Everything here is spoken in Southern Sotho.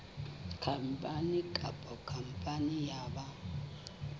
khampani kapa khampani ya ba